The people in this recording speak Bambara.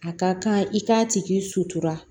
A ka kan i k'a tigi sutura